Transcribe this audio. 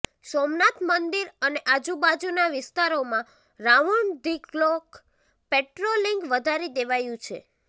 સોમનાથ મંદિર અને આજુબાજુના વિસ્તારોમાં રાઉન્ડ ધી ક્લોક પેટ્રોલિંગ વધારી દેવાયું છે